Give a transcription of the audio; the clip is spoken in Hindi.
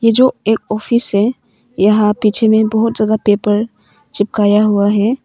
ये जो एक ऑफिस है यहां पीछे में बहुत ज्यादा पेपर चिपकाया हुआ है।